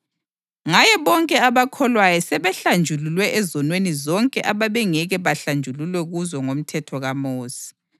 Ngaye bonke abakholwayo sebehlanjululwe ezonweni zonke abebengeke bahlanjululwe kuzo ngomthetho kaMosi.